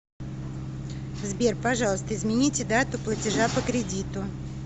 сбер пожалуйста измените дату платежа по кредиту